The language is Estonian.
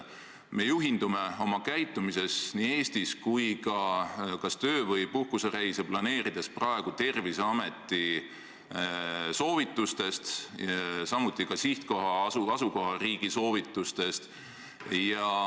Me juhindume Eestis praegu kas töö- või puhkusereise planeerides Terviseameti soovitustest, samuti sihtkoha- või asukohariigi soovitustest.